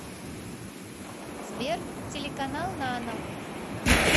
сбер телеканал нано